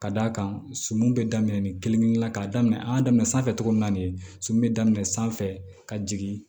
Ka d'a kan sɔmi be daminɛ nin kelen kelenna ka daminɛ an y'a daminɛ sanfɛ cogo min na de sɔmi be daminɛ sanfɛ ka jigin